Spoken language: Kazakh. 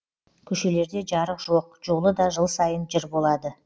көшелерде жарық жоқ жолы да жыл сайын жыр болады